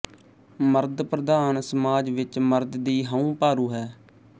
ਮਰਦ ਪ੍ਰਧਾਨ ਸਮਾਜ ਵਿੱਚ ਮਰਦ ਦੀ ਹਉਂ ਭਾਰੂ ਹੈ